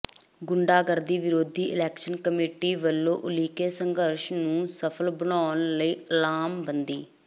ਗੁੰਡਾਗਰਦੀ ਵਿਰੋਧੀ action committee ਵੱਲੋਂ ਉਲੀਕੇ ਸੰਘਰਸ਼ ਨੂੰ ਸਫ਼ਲ ਬਣਾਉਣ ਲਈ ਲਾਮਬੰਦੀ